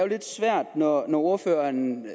lidt svært når ordføreren